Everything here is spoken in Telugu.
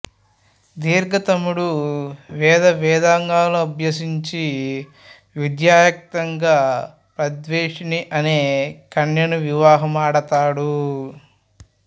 దీర్ఘతముడు వేదవేదాంగాలు అభ్యసించి విద్యుక్తంగా ప్రద్వేషిణి అనే కన్యకను వివాహం ఆడతాడు